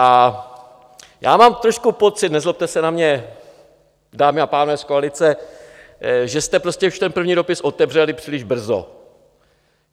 A já mám trošku pocit, nezlobte se na mě, dámy a pánové z koalice, že jste prostě už ten první dopis otevřeli příliš brzo.